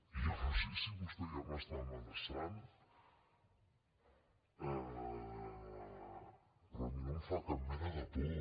jo no sé si vostè ja m’està amenaçant però a mi no em fa cap mena de por